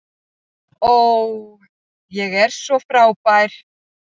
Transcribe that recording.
Ó, ég er svo frábær.